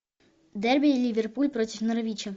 дерби ливерпуль против норвича